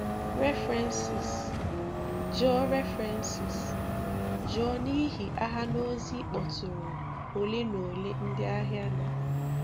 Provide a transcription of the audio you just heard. References: Jụọ References: Jụọ n’ihi àhà na ozi ịkpọ̀tụrụ ole na ole ndị ahịa na-.